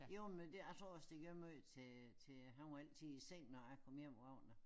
Jo men det jeg tror også det gav meget til til han var altid i seng når jeg kom hjem om aftenen